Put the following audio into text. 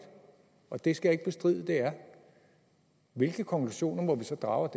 og det skal jeg ikke bestride at det er hvilke konklusioner må vi så drage